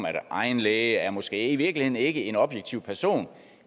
at egen læge måske i virkeligheden ikke er en objektiv person